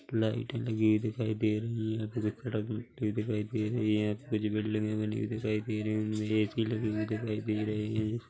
Light लगी दिखाई दे रही है दिखाई दे रही है कुछ बिल्डिंगे बनी दिखाई दे रही है ऐ_सी लगी हुई दिखाई दे रही है।